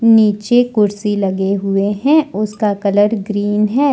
नीचे कुर्सी लगे हुए हैं। उसका कलर ग्रीन है।